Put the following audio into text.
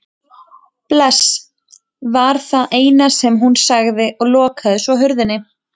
Bless var það eina sem hún sagði og lokaði svo hurðinni.